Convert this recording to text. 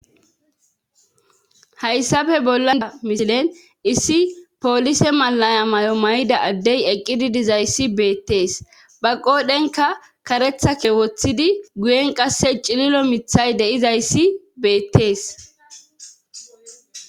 hayssafe bollada misilen issi poolise malaya mayo may7ida addey eqqidi dizayssi beettees. ba qodhenka karetha ke wothidi guyen qasse cililo mithay deizayssi beettees.